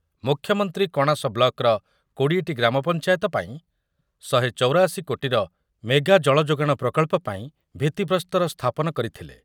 ମୁଖ୍ୟମନ୍ତ୍ରୀ କଣାସ ବ୍ଲକର କୋଡ଼ିଏ ଟି ଗ୍ରାମପଞ୍ଚାୟତ ପାଇଁ ଶହେ ଚୌରାଅଶି କୋଟିର ମେଗା ଜଳଯୋଗାଣ ପ୍ରକଳ୍ପ ପାଇଁ ଭିତ୍ତି ଭିତ୍ତିପ୍ରସ୍ତର ସ୍ଥାପନ କରିଥିଲେ ।